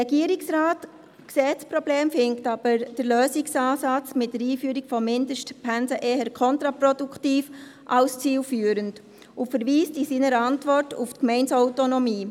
Der Regierungsrat sieht das Problem, findet aber den Lösungsansatz der Einführung von Mindestpensen eher kontraproduktiv als zielführend und verweist in seiner Antwort auf die Gemeindeautonomie.